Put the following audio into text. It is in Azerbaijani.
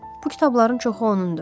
Bu kitabların çoxu onun idi.